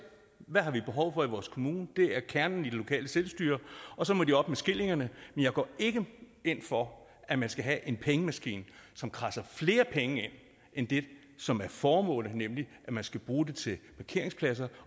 hvad vi har behov for i vores kommune det er kernen i det lokale selvstyre og så må de op med skillingerne men jeg går ikke ind for at man skal have en pengemaskine som kradser flere penge ind end det som er formålet og som man skal bruge det til